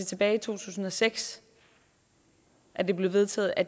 tilbage i to tusind og seks at det blev vedtaget at